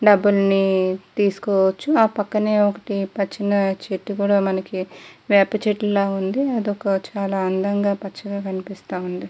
డబుల్ని తీసుకోవచ్చు ఆ పక్కనే ఒకటి చిన్న చెట్టు కూడా మనకి వేప చెట్లులాగ ఉంది అదొక చాలా అందంగా పచ్చగా కనిపిస్తుంది.